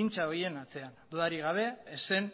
hintxa horien atzean dudarik gabe ez zen